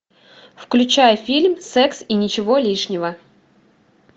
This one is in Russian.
включай фильм секс и ничего лишнего